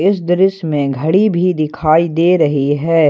इस दृश्य में घड़ी भी दिखाई दे रही है।